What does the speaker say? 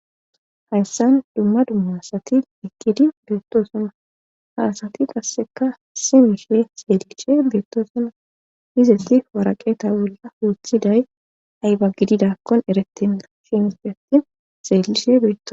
Hayssan dumma dumma sati iqqidi beetto suna haasati qasseka si mishe seeeliche beettosuna izeti waraqeeta bolla huuthiday ayba gididakkon erettenna shinisfe atti seellishe beeto.